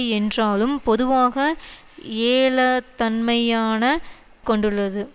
என்றாலும் பொதுவாக ஏளத்தன்மையான கொண்டுள்ளது